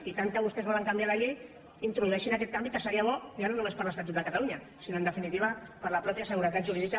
i tant que vostès volen canviar la llei introdueixin aquest canvi que seria bo ja no només per a l’estatut de catalunya sinó en definitiva per la mateixa seguretat jurídica